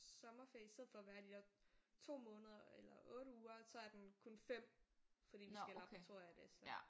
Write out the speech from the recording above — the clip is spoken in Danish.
Sommerferie i stedet for at være de der 2 måneder eller 8 uger så er den kun 5 fordi vi skal i laboratorium og det så